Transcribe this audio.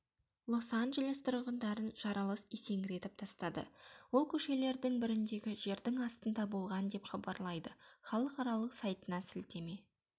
лос-анджелес тұрғындарын жарылыс есеңгіретіп тастады ол көшелердің біріндегі жердің астында болған деп хабарлайды халықаралық сайтына сілтеме